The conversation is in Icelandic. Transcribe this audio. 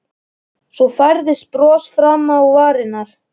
Svo færðist bros fram á varirnar.